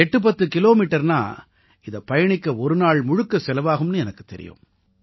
810 கிலோமீட்டர்ன்னா இதை பயணிக்க ஒரு நாள் முழுக்க செலவாகும்னு எனக்குத் தெரியும்